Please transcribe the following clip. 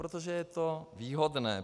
Protože je to výhodné.